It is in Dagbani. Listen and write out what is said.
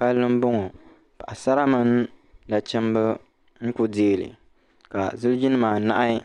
pali n boŋɔ paɣisari mini nachimba n kuli dɛli ka zilijinim anahi